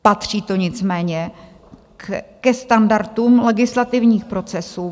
Patří to nicméně ke standardům legislativních procesů.